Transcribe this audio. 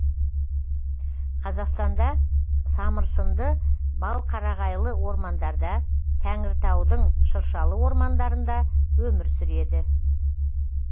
қазақстанда самырсынды балқарағайлы ормандарда тәңіртаудың шыршалы ормандарында өмір сүреді